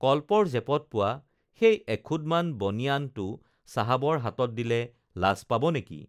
কল্পৰ জেপত পোৱা সেই এখুঁদমান বনিয়ানটো চাহাবৰ হাতত দিলে লাজ পাব নেকি